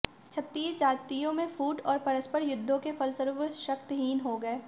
क्षत्रिय जातियों में फूट और परस्पर युद्धों के फलस्वरूप वे शक्तहीन हो गए